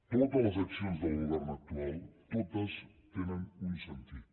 totes les accions del govern actual totes tenen un sentit